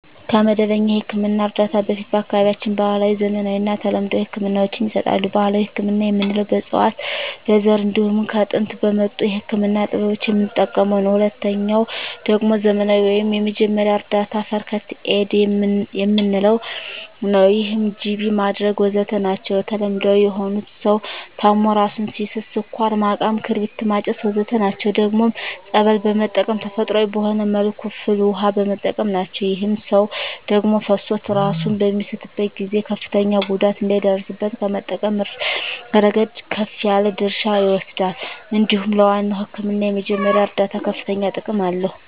ከመደበኛ የሕክምና እርዳታ በፊት በአካባቢያችን ባህለዊ፣ ዘመናዊና ተለምዷዊ ህክምናወች ይሰጣሉ። ባህላዊ ህክምና የምንለዉ በእፅዋት በዛር እንዲሁም ከጥንት በመጡ የህክምና ጥበቦች የምንጠቀመዉ ነዉ። ሁለተኛዉ ደግሞ ዘመናዊ ወይም የመጀመሪያ እርዳታ(ፈርክት ኤድ) የምንለዉ ነዉ ይህም ጅቢ ማድረግ ወዘተ ናቸዉ። ተለምዳዊ የሆኑት ሰዉ ታሞ እራሱን ሲስት ስኳር ማቃም ክርቢት ማጨስ ወዘተ ናቸዉ። ደግሞም ፀበል በመጠመቅ ተፈጥሮአዊ በሆነ መልኩ ፍል ዉሃ በመጠቀም ናቸዉ። ይህም ሰዉ ደም ፈሶት እራሱን በሚስትበት ጊዜ ከፍተኛ ጉዳት እንዳይደርስበት ከመጠበቅ እረገድ ከፍ ያለ ድርሻ ይወስዳል እንዲሁም ለዋናዉ ህክምና የመጀመሪያ እርዳታ ከፍተኛ ጥቅም አለዉ።